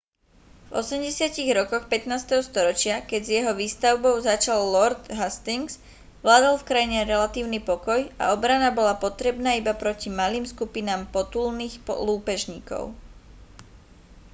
v 80. rokoch 15. storočia keď s jeho výstavbou začal lord hastings vládol v krajine relatívny pokoj a obrana bola potrebná iba proti malým skupinám potulných lúpežníkov